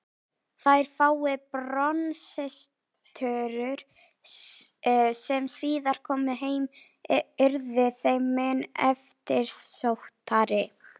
Þær fáu bronsstyttur sem síðar komu heim urðu þeim mun eftirsóttari.